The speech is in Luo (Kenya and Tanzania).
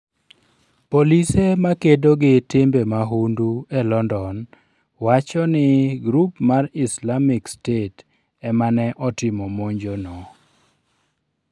Polise ma kedo gi timbe mahundu e London wacho ni grup mar Islamic State ema ne otimo monjono.